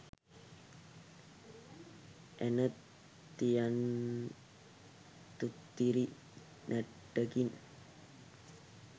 ඇන තියං තුත්තිරි නැට්ටකින්